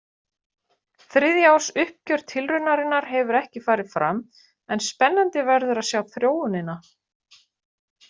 Þriðja árs uppgjör tilraunarinnar hefur ekki farið fram en spennandi verður að sjá þróunina.